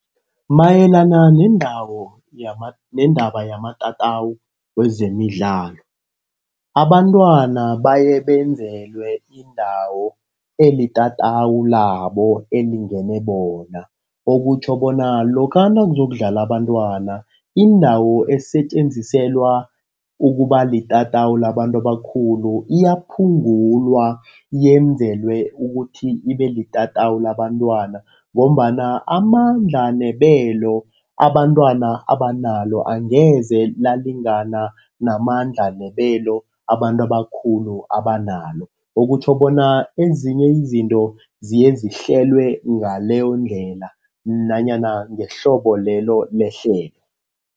Mayelana neendawo, neendaba yamatatawu wezemidlalo. Abantwana baye benzelwe indawo elitatawu labo, elingene bona. Okutjho bona lokha nakuza ukudlala abantwana, indawo esetjenziselwa ukuba litatawu labantu abakhulu iyaphunga ukulwa. Yenzelwe ukuthi ibe litatawu labantwana, ngombana amandla nebelo abantwana abanalo angeze lalingana namandla nebelo abantu abakhulu abanalo. Okutjho bona ezinye izinto ziyezihlelwe ngaleyondlela nanyana ngehlobo lelo lehlelo.